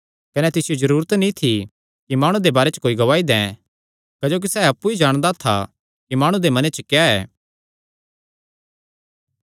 कने तिसियो जरूरत नीं थी कि माणु दे बारे च कोई गवाही दैं क्जोकि सैह़ अप्पु ई जाणदा था कि माणु दे मने च क्या ऐ